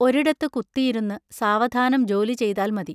ഒരിടത്തു കുത്തിയിരുന്നു സാവധാനം ജോലി ചെയ്താൽ മതി.